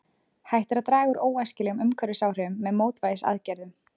Hægt er að draga úr óæskilegum umhverfisáhrifum með mótvægisaðgerðum.